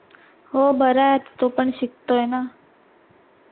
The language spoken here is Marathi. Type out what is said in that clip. हो बरे ह्यात तो पण शिकतोय ना